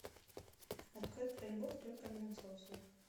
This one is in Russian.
открой про любовь только для взрослых